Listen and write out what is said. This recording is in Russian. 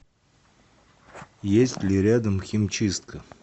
есть ли рядом химчистка